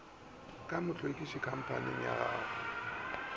ka mohlwekiši khamphaning ya go